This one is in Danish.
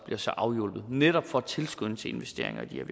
altså afhjulpet netop for at tilskynde til investeringer i de